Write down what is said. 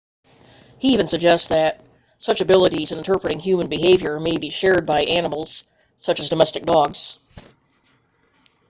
he even suggests that such abilities in interpreting human behavior may be shared by animals such as domestic dogs